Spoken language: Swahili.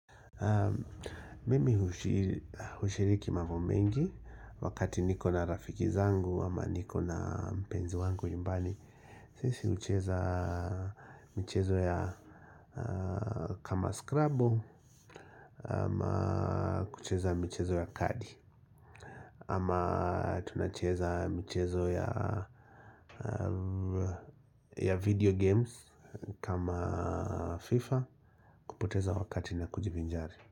Mimi hushiriki mambo mengi wakati niko na rafiki zangu ama niko na mpenzi wangu nyumbani sisi hucheza michezo ya kama scrubbo ama kucheza mchezo ya kadi ama tunacheza mchezo ya ya video games kama FIFA kupoteza wakati na kujivinjari.